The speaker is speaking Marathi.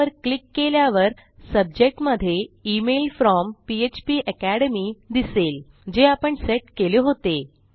त्यावर क्लिक केल्यावर सब्जेक्ट मधे इमेल फ्रॉम फ्पाकॅडमी दिसेल जे आपण सेट केले होते